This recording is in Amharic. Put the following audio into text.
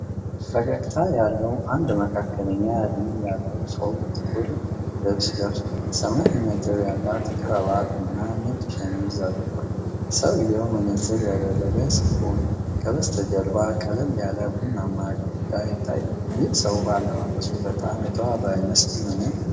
ፈገግታ ያለው አንድ መካከለኛ እድሜ ያለው ሰው ጥቁር ልብስ ለብሷል። ሰማያዊ ነጥብ ያለው ክራቫት እና ነጭ ሸሚዝ አድርጓል። ሰውየው መነጽር ያደረገ ሲሆን ከበስተጀርባ ቀለል ያለ ቡናማ ግድግዳ ይታያል። ይህ ሰው በአለባበሱ በጣም የተዋበ አይመስልም?